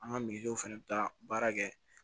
An ka fana bɛ taa baara kɛ